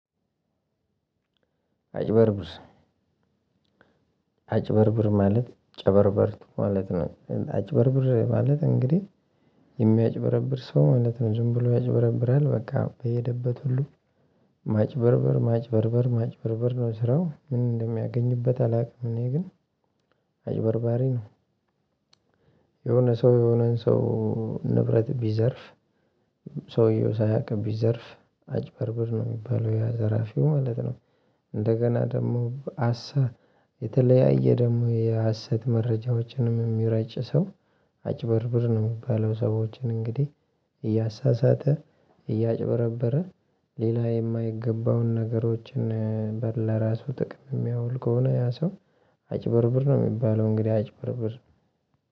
አጭበርብር አጭበርብር ማለት ጨበርበር ማለት ነው አጭበርብር ማለት እንግዲህ የሚያጭበረብር ሰው ማለት ነው። ዝም ብሎ ያጭበረብራል በቃ በሄደበት ሁሉ ማጭበርበር ማጭበርበር ማጭበርበር ነው ስራው ምን እንደሚያገኝበት አላውቅም። እኔ ግን አጭበርባሬ ነው። የሆነ ሰው የሆነን ሰው ንብረት ቢዘርፍ ሰውየው ሳያውቅ ቢዘርፍ አጭበርብር ነው የሚባለው ዘራፊው ማለት ነው። እንደገና ደግሞ ሃሰት የተለያየ ደግሞ የሀሰት መረጃዎችንም የሚረጭ ሰው አጭበርብር ነው የሚባለው። ሰዎችን እንግዲህ እያሳሳተ እያጭበረበረ ሌላ የማይገባውን ነገሮችን በር ለራሱ ጥቅም የሚያውል ከሆነ ያ ሰው አጭበርብር ነው የሚባለው። እንግዲህ አጭበርብር